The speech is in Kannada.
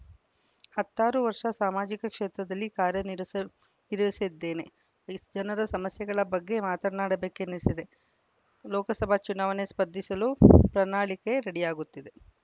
ಹತ್ತಾರು ವರ್ಷ ಸಾಮಾಜಿಕ ಕ್ಷೇತ್ರದಲ್ಲಿ ಕಾರ್ಯ ನಿರಸ ನಿರ್ವಹಿಸಿದ್ದೇನೆ ಜನರ ಸಮಸ್ಯೆಗಳ ಬಗ್ಗೆ ಮಾತನಾಡಬೇಕೆನಿಸಿದೆ ಲೋಕಸಭೆ ಚುನಾವಣೆಗೆ ಸ್ಪರ್ಧಿಸಲು ಪ್ರನಾಳಿಕೆ ರೆಡಿಯಾಗುತ್ತಿದೆ